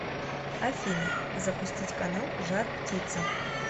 афина запустить канал жар птица